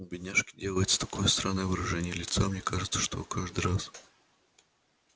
у бедняжки делается такое странное выражение лица мне кажется она каждый раз